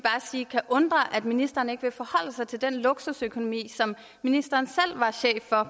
sige kan undre at ministeren ikke vil forholde sig til den luksusøkonomi som ministeren selv var